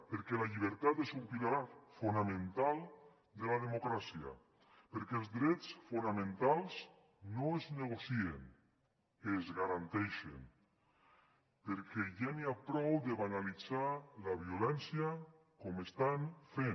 perquè la llibertat és un pilar fonamental de la democràcia perquè els drets fonamentals no es negocien es garanteixen perquè ja n’hi ha prou de banalitzar la violència com estan fent